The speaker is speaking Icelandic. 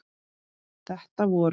Þetta voru